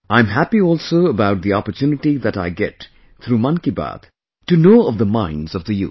I am happy also about the opportunity that I get through 'Mann Ki Baat' to know of the minds of the youth